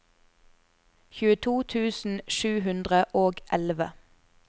tjueto tusen sju hundre og elleve